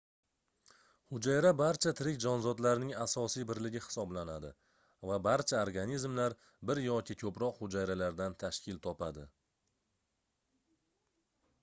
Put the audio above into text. hujayra barcha tirik jonzotlarning asosiy birligi hisoblanadi va barcha organizmlar bir yoki koʻproq hujayralardan tashkil topadi